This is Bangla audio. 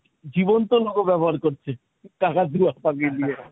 জীবন্ত logo ব্যবহার করছে কাকাতুয়া পাখি দিয়ে।